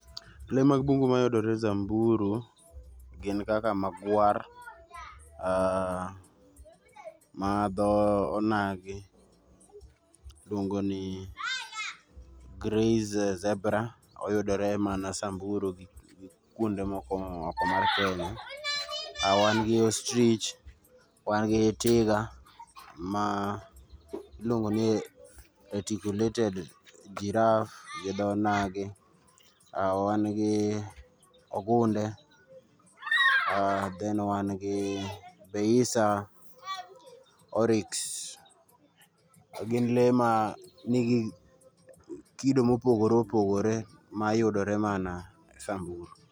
Lee mag bungu mayudore Samburu gin kaka magwar, aah, madho onagi luongo ni grey zebra, oyudore mana Samburu gi kuonde moko oko mar Kenya. Wan gi Ostrich, wan gi tiga ma iluongo ni eticulated giraffe gi dho onagi ,wan gi ogunde, aah then wan gi peisa oryx. Gin lee ma nigi kido mopogore opogore mayudore mana Samburu